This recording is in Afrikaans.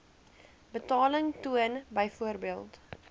betaling toon byvoorbeeld